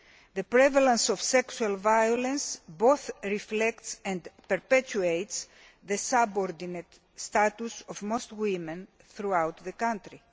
the prevalence of sexual violence both reflects and perpetuates the subordinate status of most women throughout the country.